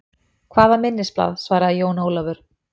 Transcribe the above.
Hvaða minnisblað, svaraði Jón Ólafur.